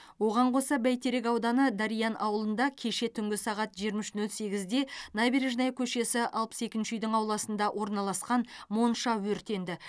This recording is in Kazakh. оған қоса бәйтерек ауданы дариян ауылында кеше түнгі сағат жиырма үш нөл сегізде набережная көшесі алпыс екінші үйдің ауласында орналасқан монша өртенді